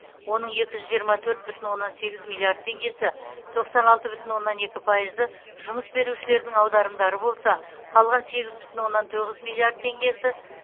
оның екі жүз жиырма төрт бүтін оннан сегіз миллиард теңгесі тоқсан алты бүтін оннан екі пайызы жұмыс берушілердің аударымдары болса қалған сегіз бүтін оннан тоғыз миллиард теңгесі